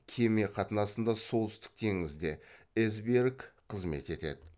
кеме қатынасында солтүстік теңізде эсбьерг қызмет етеді